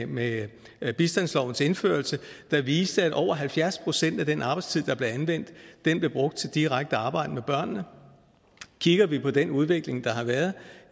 med med bistandslovens indførelse der viste det at over halvfjerds procent af den arbejdstid der blev anvendt blev brugt til det direkte arbejde med børnene kigger vi på den udvikling der har været